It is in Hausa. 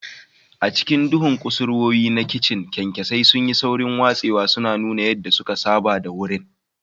A cikin duhun kusurwoyi na kicin, kyankyasai sun yi saurin watsewa, suna nuna yadda suka saba da wurin.